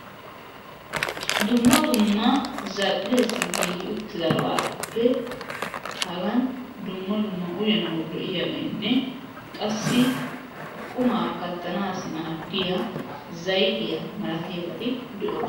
dumma dumma zal'iyaassi giigi uutidaabappe haagan dumma dumma uyanawu lo'iyaabaynne qassi qumaa kaattanassi maadiyaa zaytiyaa malatiyaabati de'oosona